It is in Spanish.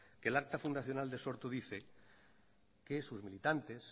que el acta fundacional de sortu dice que sus militantes